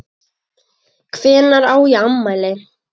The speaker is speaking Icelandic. Hvenær á ég afmæli?